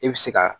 I bɛ se ka